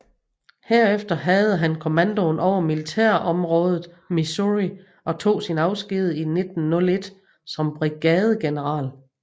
Herefter havde han kommandoen over militærområdet Missouri og tog sin afsked i 1901 som brigadegeneral